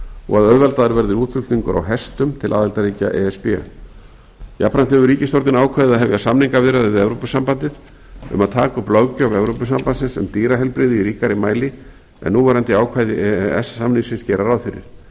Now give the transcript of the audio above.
og að auðveldaður verði útflutningur á hestum til aðildarríkja e s b jafnframt hefur ríkisstjórnin ákveðið að hefja samningaviðræður við evrópusambandið um að taka upp löggjöf evrópusambandsins um dýraheilbrigði í ríkari mæli en núverandi ákvæði e e s samningsins gera ráð fyrir